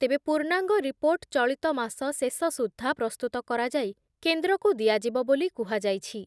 ତେବେ ପୂର୍ଣାଙ୍ଗ ରିପୋର୍ଟ ଚଳିତ ମାସ ଶେଷ ସୁଦ୍ଧା ପ୍ରସ୍ତୁତ କରାଯାଇ କେନ୍ଦ୍ରକୁ ଦିଆଯିବ ବୋଲି କୁହାଯାଇଛି ।